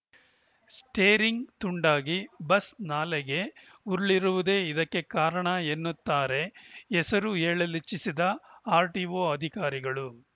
steering ತುಂಡಾಗಿ bus ನಾಲೆಗೆ ಉರುಳಿರುವುದೇ ಇದಕ್ಕೆ ಕಾರಣ ಎನ್ನುತ್ತಾರೆ ಹೆಸರು ಹೇಳಲಿಚ್ಛಿಸದ ಆರ್‌ಟಿಒ ಅಧಿಕಾರಿಗಳು